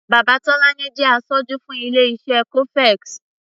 Bàbá Tọ́lání jẹ́ aṣojú fún ilé-iṣé cofex.